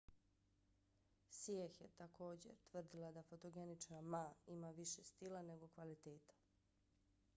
hsieh je također tvrdila da fotogenična ma ima više stila nego kvaliteta